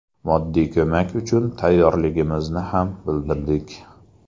Moddiy ko‘mak uchun tayyorligimizni ham bildirdik.